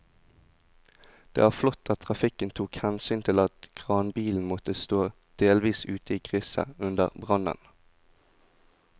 Det var flott at trafikken tok hensyn til at kranbilen måtte stå delvis ute i krysset under brannen.